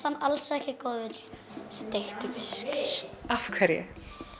hann alls ekki góður steiktur fiskur af hverju